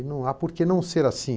E não há por que não ser assim.